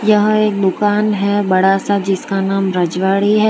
यहां एक दुकान है बड़ा सा जिसका नाम रजवाड़ी है।